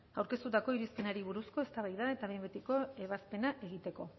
aurkeztutako irizpenari buruzko eztabaida eta behin betiko ebazpena egiteko